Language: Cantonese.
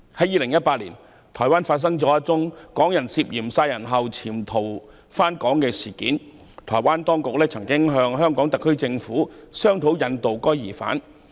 2018年發生了一宗港人涉嫌在台灣殺人後潛逃回港的事件，台灣當局曾向香港特區政府商討引渡疑犯。